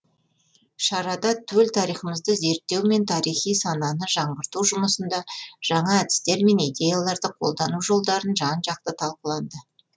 шарада төл тарихымызды зерттеу мен тарихи сананы жаңғырту жұмысында жаңа әдістер мен идеяларды қолдану жолдары жан жақты талқыланды